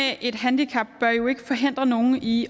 et handicap bør jo ikke forhindre nogen i